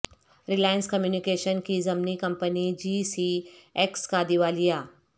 Reliance communication کی ضمنی company G C X کا دیوالیہ